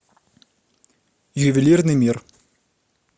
ювелирный мир